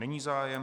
není zájem.